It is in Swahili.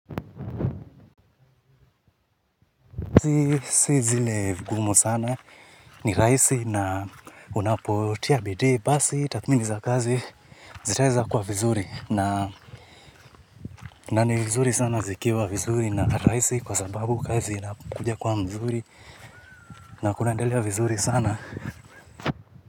Si zile vigumu sana, ni rahisi na unapotia bidii basi takhmini za kazi zitaeza kwa vizuri na ni vizuri sana zikiwa vizuri na raisi kwa sababu kazi inakuja kwa mzuri na kunaendelea vizuri sana.